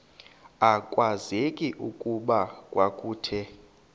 akwazeki okokuba kwakuthe